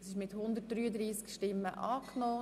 Der Grosse Rat hat das Kreditgeschäft angenommen.